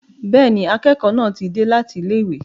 Bẹ́ẹ̀ni, akẹ́kọ̀ọ́ náà ti dé láti ilé ìwé.